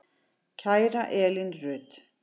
Kæra Elín Rut.